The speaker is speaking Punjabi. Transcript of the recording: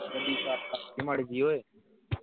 ਗੱਡੀ start ਕਰ ਮਾੜੀ ਜੀ ਓਏ।